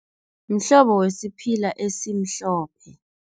Mhlobo wesiphila esimhlophe.